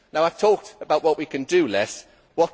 I have talked about what we can do less of.